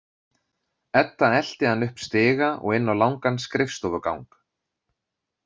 Edda elti hann upp stiga og inn á langan skrifstofugang.